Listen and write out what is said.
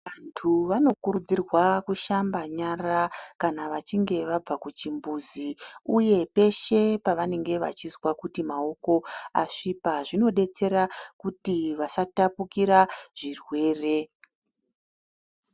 Antu anokurudzirwa kushamba nyara kana vachinge vabva kuchimbuzi uye peshe pavanenge vachizwa kuti maoko asvipa zvinodetsera kuti vasatapukira zvirwere.